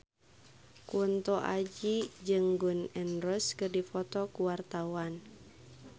Kunto Aji jeung Gun N Roses keur dipoto ku wartawan